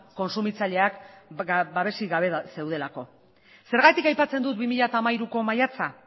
kontsumitzaileak babesik gabe zeudelako zergatik aipatzen dut bi mila hiruko maiatza